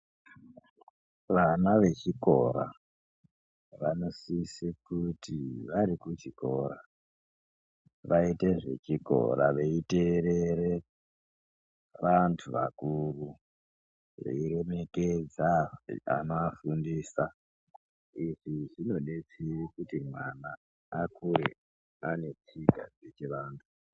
Vana vechikora, vanosise kuti vari kuchikora, vaite zvechikora veiteerere, vantu vakuru, veiremekedza anoafundisa. Izvi zvinodetsere kuti mwana vakure ane tsika dzechivantu.